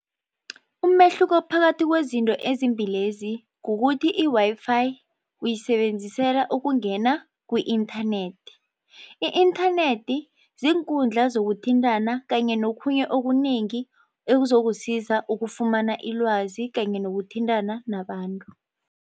Umehluko phakathi kwezinto ezimbilezi kukuthi i-Wi-Fi uyisebenzisela ukungena ku-inthanethi. I-inthanethi ziinkundla zokuthintana kanye nokhunye okunengi ekuzokusiza ukufumana ilwazi kanye nokuthintana nabantu.